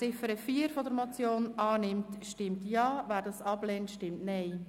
Wer die Ziffer 4 der Motion annimmt, stimmt Ja, wer diese ablehnt, stimmt Nein.